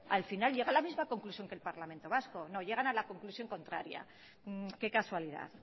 al final llega a la misma conclusión que el parlamento vasco no llegan a la conclusión contraria qué casualidad